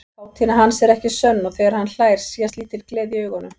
Kátína hans er ekki sönn og þegar hann hlær sést lítil gleði í augunum.